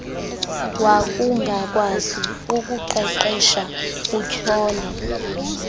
wakungakwazi ukuqeqesha utyhole